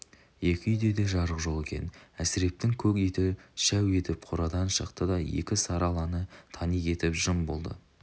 екі үйде де жарық жоқ екен әсірептің көк иті шәу етіп қорадан шықты да екі сары аланы тани кетіп жым болды